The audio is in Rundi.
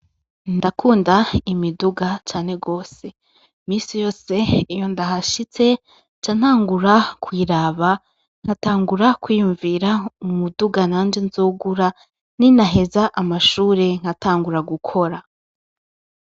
Ndakunda imiduga cane gose ,iminsi yose iyo ndahashitse, nca ntangura kuyiraba nkatangura kwiyumvira, umuduga nanje nzogura ninaheza amashure nkatangura gukora.